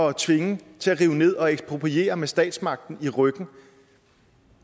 at tvinge til at rive ned og ekspropriere med statsmagten i ryggen